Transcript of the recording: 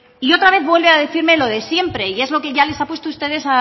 y otra vez vuelve a decirme lo de siempre y es lo que ya les ha puesto ustedes